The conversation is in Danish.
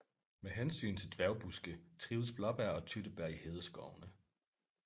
Med hensyn til dværgbuske trives blåbær og tyttebær i hedeskovene